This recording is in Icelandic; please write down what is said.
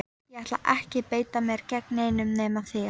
Ég ætla ekki að beita mér gegn neinum nema þér!